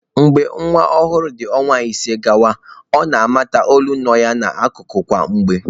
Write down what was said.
Mgbe nwa ọhụrụ dị ọnwa ise gawa, ọ na-amata olu nọ ya n'akụkụ kwa mgbe.